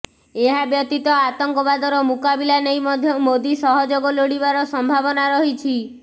ଏହାବ୍ୟତୀତ ଆତଙ୍କବାଦର ମୁକାବିଲା ନେଇ ମଧ୍ୟ ମୋଦି ସହଯୋଗ ଲୋଡ଼ିବାର ସମ୍ଭାବନା ରହିଛି